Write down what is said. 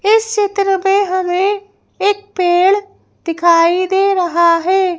इस चित्र में हमें एक पेड़ दिखाई दे रहा है।